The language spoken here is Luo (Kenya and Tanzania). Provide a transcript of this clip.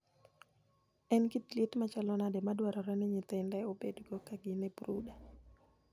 En kit liet machalo nade madwarore ni nyithinde obedgo ka gin e brooder?